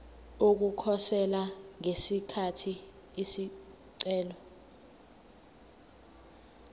ukukhosela ngesikhathi isicelo